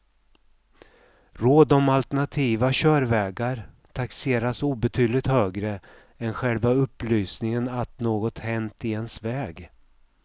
Råd om alternativa körvägar taxeras obetydligt högre än själva upplysningen att något hänt i ens väg.